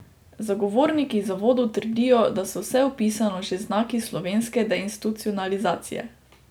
Zagovorniki zavodov trdijo, da so vse opisano že znaki slovenske deinstitucionalizacije.